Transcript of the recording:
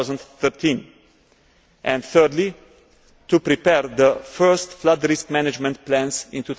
2013 and, thirdly, to prepare the first flood risk management plans in